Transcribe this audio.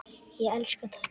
Ég elska töltið.